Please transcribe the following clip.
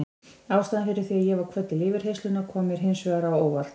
Ástæðan fyrir því að ég var kvödd til yfirheyrslunnar kom mér hins vegar á óvart.